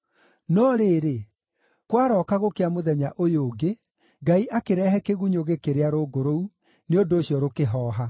No rĩrĩ, kwarooka gũkĩa mũthenya ũyũ ũngĩ, Ngai akĩrehe kĩgunyũ gĩkĩrĩa rũũngũ rũu, nĩ ũndũ ũcio rũkĩhooha.